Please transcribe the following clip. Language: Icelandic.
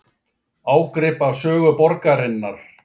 Ágrip af sögu borgarinnar